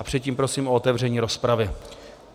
A předtím prosím o otevření rozpravy.